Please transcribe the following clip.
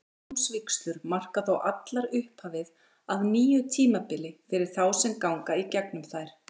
Manndómsvígslur marka þó allar upphafið að nýju tímabili fyrir þá sem ganga í gegnum þær.